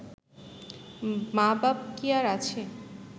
মা বাপ কি আর আছে